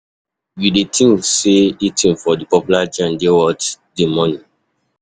You dey think say eating for di popular joints dey worth di money?